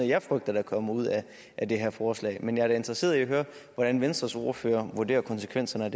jeg frygter der kommer ud af det her forslag men jeg er da interesseret i at høre hvordan venstres ordfører vurderer konsekvenserne